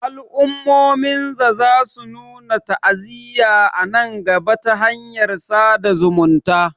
al'ummomin za su nuna ta'aziyya a nan gaba ta hanyar sada zumunta